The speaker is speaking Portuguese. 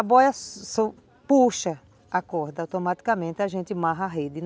A boia puxa a corda, automaticamente a gente amarra a rede.